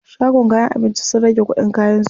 Shagon kayan abinci sun rage kuɗin kayan su.